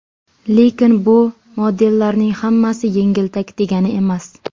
Lekin bu modellarning hammasi yengiltak degani emas.